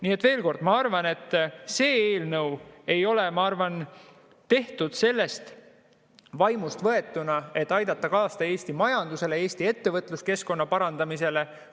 Nii et veel kord: ma arvan, et see eelnõu ei ole tehtud sellest vaimust kantuna, et aidata kaasa Eesti majandusele, Eesti ettevõtluskeskkonna parandamisele.